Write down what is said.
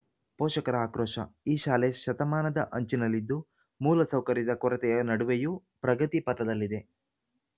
ಪೋಷಕರ ಅಕ್ರೋಶ ಈ ಶಾಲೆ ಶತಮಾನದ ಅಂಚಿನಲ್ಲಿದ್ದು ಮೂಲ ಸೌಕರ್ಯದ ಕೊರತೆಯ ನಡುವೆಯೂ ಪ್ರಗತಿ ಪಥದಲ್ಲಿದೆ